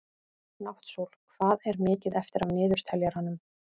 Náttsól, hvað er mikið eftir af niðurteljaranum?